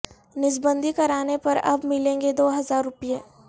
نسبندی کرانے پر اب ملیں گے دو ہزار روپئے